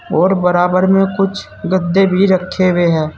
और बराबर में कुछ गद्दे भी रखे हुए हैं।